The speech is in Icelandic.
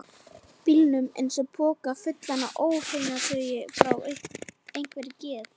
bílnum eins og poka fullan af óhreinataui frá einhverri geð